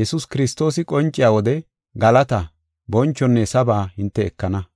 Yesuus Kiristoosi qonciya wode galataa, bonchonne saba hinte ekana.